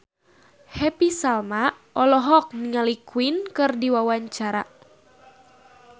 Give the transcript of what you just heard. Happy Salma olohok ningali Queen keur diwawancara